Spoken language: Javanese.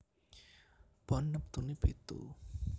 Pon neptune pitu